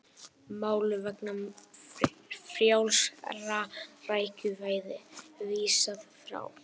Máli vegna frjálsra rækjuveiða vísað frá